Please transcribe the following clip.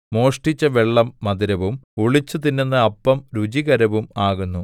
മോഷ്ടിച്ച വെള്ളം മധുരവും ഒളിച്ചുതിന്നുന്ന അപ്പം രുചികരവും ആകുന്നു